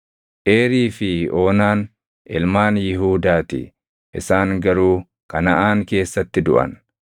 Eerii fi Oonaan ilmaan Yihuudaa ti; isaan garuu Kanaʼaan keessatti duʼan.